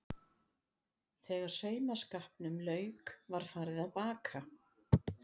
Þegar saumaskapnum lauk var farið að baka.